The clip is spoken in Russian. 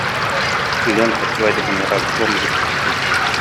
лента свадебный разгром запусти